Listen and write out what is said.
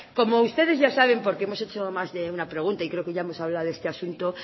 como ustedes ya saben porque hemos hecho más de una pregunta y creo que ya hemos hablado de este asunto